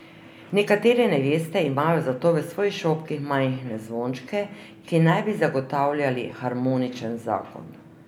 Nekatere neveste imajo zato v svojih šopkih majhne zvončke, ki naj bi zagotavljali harmoničen zakon.